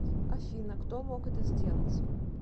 афина кто мог это сделать